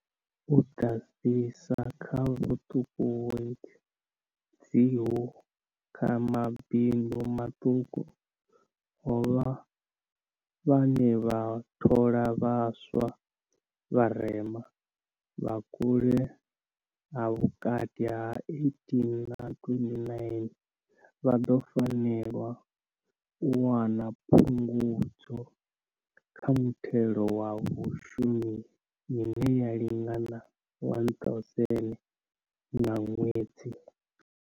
U ḓadzisa kha vhuṱuṱuwedzi uho kha mabindu maṱuku, havho vhane vha thola vhaswa vharema, vha vhukale ha vhukati ha 18 na 29, vha ḓo fanela u wana Phungudzo kha Muthelo wa Vhashumi ine ya lingana R1 000 nga ṅwedzi.